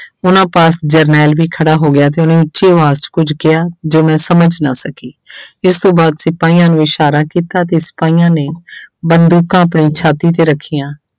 ਉਹਨਾਂ ਪਾਸ ਜਰਨੈਲ ਵੀ ਖੜਾ ਹੋ ਗਿਆ ਤੇ ਉਹਨੇ ਉੱਚੀ ਆਵਾਜ਼ 'ਚ ਕੁੱਝ ਕਿਹਾ, ਜੋ ਮੈਂ ਸਮਝ ਨਾ ਸਕੀ ਇਸ ਤੋਂ ਬਾਅਦ ਸਿਪਾਹੀਆਂ ਨੂੰ ਇਸ਼ਾਰਾ ਕੀਤਾ ਤੇ ਸਿਪਾਹੀਆਂ ਨੇ ਬੰਦੂਕਾਂ ਆਪਣੀ ਛਾਤੀ ਤੇ ਰੱਖੀਆਂ,